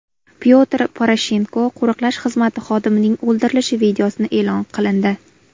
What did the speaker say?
Pyotr Poroshenko qo‘riqlash xizmati xodimining o‘ldirilishi videosi e’lon qilindi.